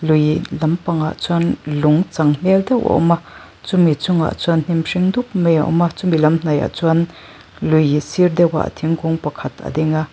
lui dam pangah chuan lung chang hmel deuh a awm a chumi chungah chuan hnim hring dup mai a awm a chumi lam hnaihah chuan lui sir deuhah thingkung pakhat a ding a.